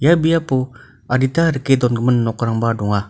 ia biapo adita rike dongimin nokrangba donga.